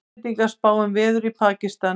Íslendingar spá um veður í Pakistan